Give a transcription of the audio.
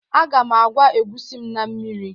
a ga m agwa egusi m na mmiri